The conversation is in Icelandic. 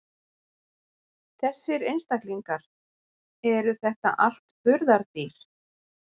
Þessir einstaklingar, eru þetta allt burðardýr?